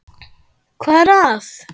. hvað er að.